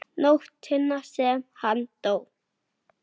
Augun voru stór og skýr.